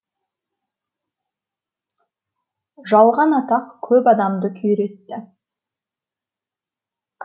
жалған атақ көп адамды күйретті